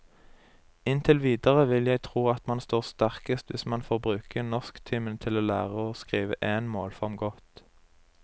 Inntil videre vil jeg tro at man står sterkest hvis man får bruke norsktimene til å lære å skrive én målform godt.